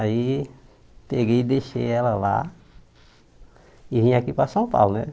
Aí peguei e deixei ela lá e vim aqui para São Paulo né.